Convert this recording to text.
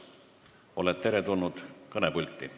Oled kõnepulti teretulnud!